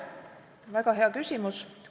Väga hea küsimus.